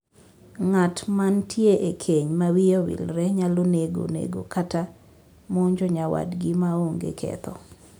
Ng'at mantie e keny ma wiye owilore nyalo nego nego kata monjo nyawadgi ma onge ketho.